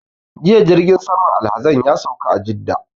Jiya jirgin saman alhazan ya sauka a Jidda